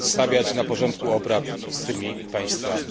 stawiać na porządku obrad z tymi państwami.